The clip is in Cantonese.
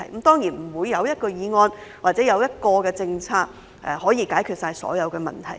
當然，沒有一項議案或政策可以解決所有問題。